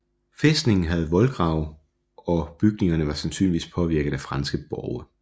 Fæstningen havde voldgrav og bygningerne var sandsynligvis påvirket af franske borge